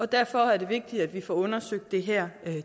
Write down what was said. derfor er det vigtigt at vi får undersøgt det her